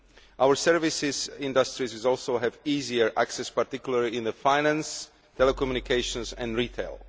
Our services industries will also have easier access particularly in finance, telecommunications and retail.